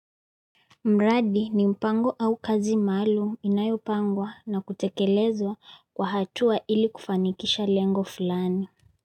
Mradi ni mpango au kazi maalum inayopangwa na kutekelezwa kwa hatua ili kufanikisha lengo fulani.